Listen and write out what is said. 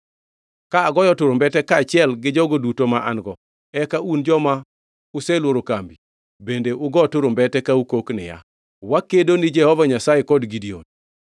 Ka agoyo turumbete kaachiel jogo duto ma an-go, eka un joma uselworo kambi bende ugo turumbete ka ukok niya, “Wakedo ni Jehova Nyasaye kod Gideon.”